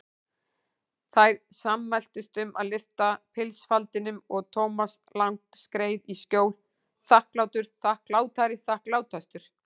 Þær sammæltust um að lyfta pilsfaldinum og Thomas Lang skreið í skjól, þakklátur, þakklátari, þakklátastur.